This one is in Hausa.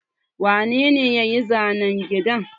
Wane ne ya yi zanen gidan?